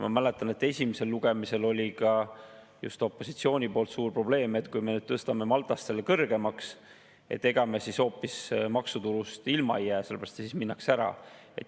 Ma mäletan, et esimesel lugemisel oli ka just opositsioonil suur probleem, et kui me nüüd tõstame selle Malta kõrgemaks, et ega me siis maksutulust hoopis ilma ei jää, sest siis minnakse ära.